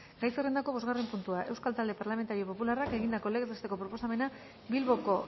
gai zerrendako bosgarren puntua euskal talde parlamentario popularrak egindako legez besteko proposamena bilboko